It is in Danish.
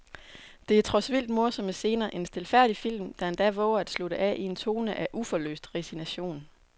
Der er trods vildt morsomme scener en stilfærdig film, der endda vover at slutte af i en tone af uforløst resignation.